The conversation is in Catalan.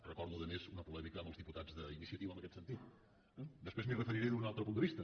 recordo a més una polèmica amb els diputats d’iniciativa en aquest sentit eh després m’hi referiré des d’un altre punt de vista